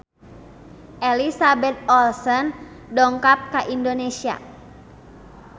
Elizabeth Olsen dongkap ka Indonesia